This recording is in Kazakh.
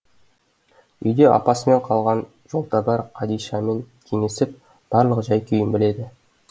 үйде апасымен қалған жолтабар қадишамен кеңесіп барлық жай күйін біледі